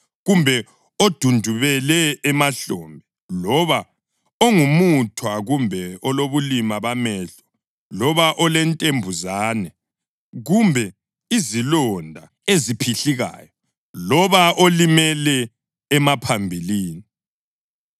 kumbe odundubele emahlombe, loba ongumuthwa, kumbe elobulima bamehlo, loba olentembuzane, kumbe izilonda eziphihlikayo, loba olimele emaphambilini.